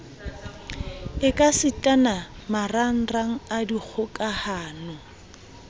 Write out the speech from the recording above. ekasitana le marangrang a dikgokahano